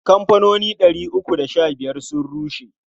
Kamfanoni ɗari uku da sha biyar sun rushe.